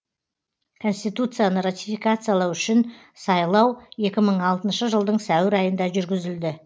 конституцияны ратификациялау үшін екі мың алтынша жылдың сәуір айында жүргізілді